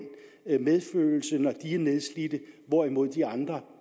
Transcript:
medfølelse når de er nedslidte hvorimod de andre